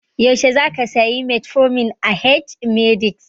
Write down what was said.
Yaushe zaka saya metformin a h-medix?